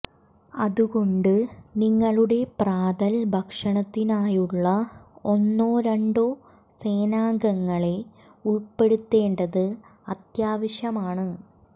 അതുകൊണ്ട് നിങ്ങളുടെ പ്രാതൽ ഭക്ഷണത്തിനായുള്ള ഒന്നോ രണ്ടോ സേനാംഗങ്ങളെ ഉൾപ്പെടുത്തേണ്ടത് അത്യാവശ്യമാണ്